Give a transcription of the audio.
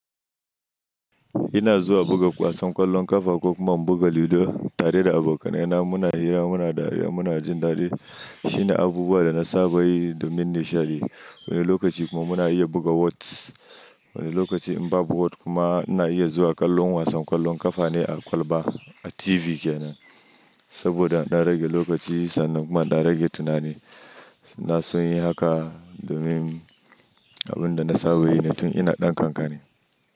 Ina zuwa buga wasan ƙwallon ƙafa kuma in buga lido tare da abokanai na muna hira muna dariya muna jin daɗi shine abubuwa da na saba yi domin nishaɗi. Woni lokaci kuma muna iya buga wot. Woni lokaci in ba bu wot kuma ina iya zuwa ƙwallon wasan ƙwallon ƙafa ne a kwalba a TV kenan. Saboda na rage lokaci sannan kuma na rage tunani. Na sonyi haka domin abun da na saba yi ne tun ina ɗan kankani.